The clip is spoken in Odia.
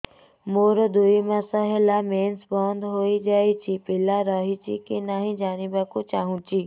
ମୋର ଦୁଇ ମାସ ହେଲା ମେନ୍ସ ବନ୍ଦ ହେଇ ଯାଇଛି ପିଲା ରହିଛି କି ନାହିଁ ଜାଣିବା କୁ ଚାହୁଁଛି